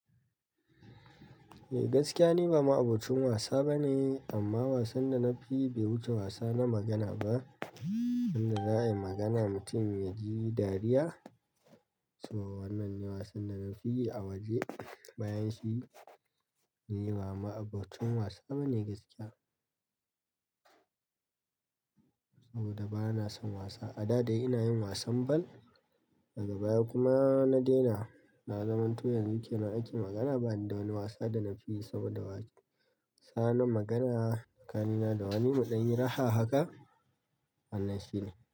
Eh gaskiya ni ba ma'abocin wasa bane, amma wasan da na fi yi bai wuce wasa na magana ba. Wanda za a yi magana mutum ya ji dariya. Saboda wannan ne wasan da na fi yi a waje, bayan shi ni ba ma'abocin wasa bane gaskiya. Saboda bana son wasa, a da dai ina yin wasan ball, daga baya kuma na daina. Na zamanto yanzu kenan ake magana bani da wani wasa da na fi yi sama da wasa na magana tsakanina da wani mu ɗan yi raha haka wannan shine.